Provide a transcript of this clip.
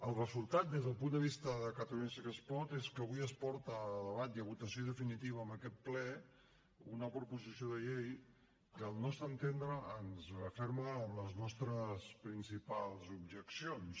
el resultat des del punt de vista de catalunya sí que es pot és que avui es porta a debat i a votació definitiva en aquest ple una proposició de llei que al nostre entendre ens referma en les nostres principals objeccions